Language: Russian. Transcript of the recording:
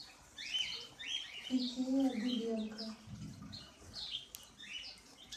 икеа дыбенко